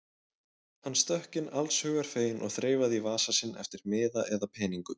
Hann stökk inn allshugar feginn og þreifaði í vasa sinn eftir miða eða peningum.